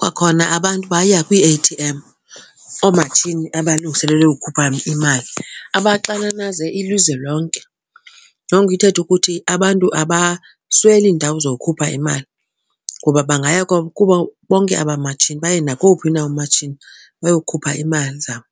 Kwakhona abantu baya kwii-A_T_M, oomatshini abalungiselelwe ukhupha imali, abaxananaze ilizwe lonke. Loo nto ithethe ukuthi abantu abasweli iindawo zokukhupha imali ngoba bangaya kubo bonke aba matshini, baye nakowuphi na umatshini bayokhupha imali zabo.